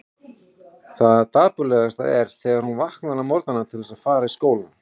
Það dapurlegasta er þegar hún vaknar á morgnana til þess að fara í skólann.